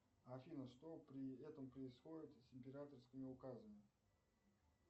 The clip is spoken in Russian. афина что при этом происходит с императорскими указами